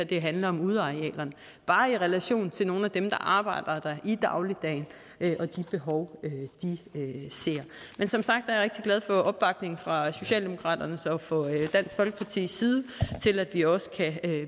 det handler om udearealerne bare i relation til nogle af dem der arbejder der i dagligdagen og de behov de ser men som sagt er jeg rigtig glad for opbakningen fra socialdemokratiets og dansk folkepartis side til at vi også